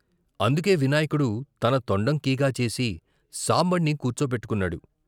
అందుకే వినాయకుడు తన తొండం కీగాచేసి సాంబణ్ణి కూర్చోపెట్టు కున్నాడు.